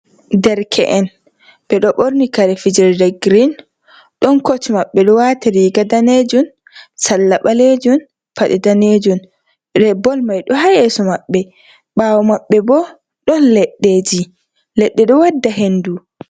Derke’en ɓeɗo ɓorni kare fijerɗe grin ɗon koch maɓɓe ɗo wati riga ɗanejum salla ɓalejum paɗe danejun bol mai do hacyeso maɓɓe ɓawo maɓɓe bo ɗon leɗɗeji leɗɗe do wadda hendu.